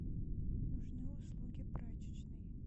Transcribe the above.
нужны услуги прачечной